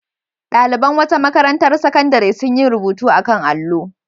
Ɗaliban wata makarantar sakandare sun yi rubutu a kan allo.